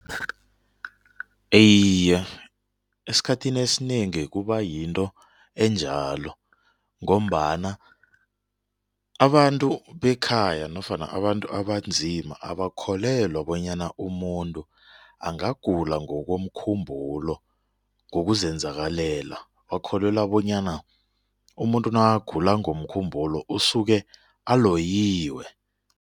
Iye, esikhathini esinengi kuba yinto enjalo ngombana abantu bekhaya nofana abantu abanzima abakholelwa bonyana umuntu angagula ngokomkhumbulo ngokuzenzakalela bakholelwa bonyana umuntu nakagula ngokomkhumbulo usuke aloyiwe.